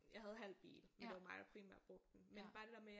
Jeg havde halvt bil men det var mig der primært brugte den men bare det der med